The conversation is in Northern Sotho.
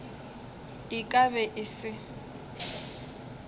e ka be e se